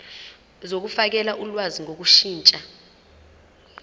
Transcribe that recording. zokufakela ulwazi ngokushintsha